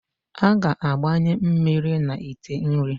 A ga-agbanye mmiri na ite nri.